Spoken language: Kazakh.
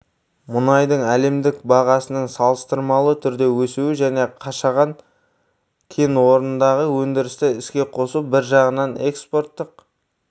мұнайдың әлемдік бағасының салыстырмалы түрде өсуі және қашаған кен орнындағы өндірісті іске қосу бір жағынан экспорттық